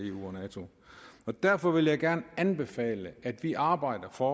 eu og nato derfor vil jeg gerne anbefale at vi arbejder for